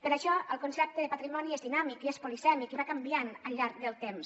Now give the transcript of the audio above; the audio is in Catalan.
per això el concepte de patrimoni és dinàmic i es polisèmic i va canviant al llarg del temps